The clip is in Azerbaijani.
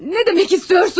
Nə demək istəyirsiniz?